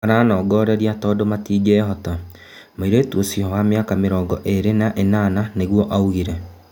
"Maranongoreria tondu matingihota,"mũirĩtu ũcio wa mĩaka mĩrongo ĩrĩ na ĩnana nĩgũo augire.